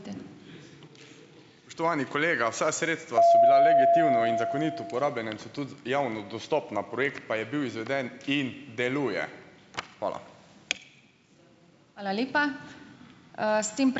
Spoštovani kolega! Vsa sredstva so bila legitimno in zakonito porabljena in so tudi javno dostopna, projekt pa je bil izveden in deluje. Hvala.